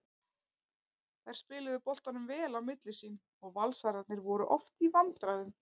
Þær spiluðu boltanum vel á milli sín og Valsararnir voru oft í vandræðum.